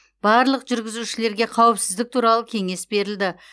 барлық жүргізушілерге қауіпсіздік туралы кеңес берілді